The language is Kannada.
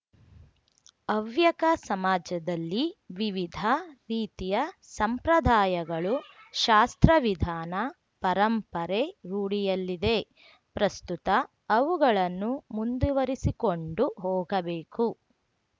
ಹವ್ಯಕ ಸಮಾಜದಲ್ಲಿ ವಿವಿಧ ರೀತಿಯ ಸಂಪ್ರದಾಯಗಳು ಶಾಸ್ತ್ರವಿಧಾನ ಪರಂಪರೆ ರೂಢಿಯಲ್ಲಿದೆ ಪ್ರಸ್ತುತ ಅವುಗಳನ್ನು ಮುಂದುವರಿಸಿಕೊಂಡು ಹೋಗಬೇಕು